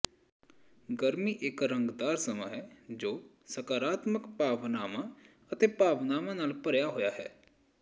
ਗਰਮੀ ਇੱਕ ਰੰਗਦਾਰ ਸਮਾਂ ਹੈ ਜੋ ਸਕਾਰਾਤਮਕ ਭਾਵਨਾਵਾਂ ਅਤੇ ਭਾਵਨਾਵਾਂ ਨਾਲ ਭਰਿਆ ਹੋਇਆ ਹੈ